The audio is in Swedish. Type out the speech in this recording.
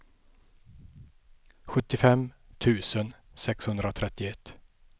sjuttiofem tusen sexhundratrettioett